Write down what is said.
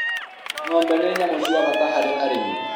ngombe ni nyamũ cia bata harĩ arĩmi